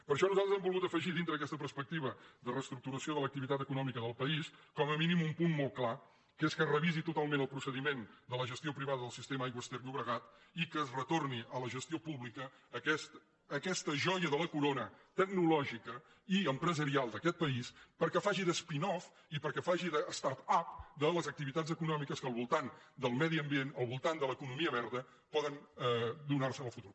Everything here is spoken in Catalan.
per això nosaltres hem volgut afegir dintre d’aquesta perspectiva de reestructuració de l’activitat econòmica del país com a mínim un punt molt clar que és que es revisi totalment el procediment de la gestió privada del sistema aigües ter llobregat i que es retorni a la gestió pública aquesta joia de la corona tecnològica i empresarial d’aquest país perquè faci de spin off i per·què faci de start upal voltant del medi ambient al voltant de l’economia verda poden donar·se en el futur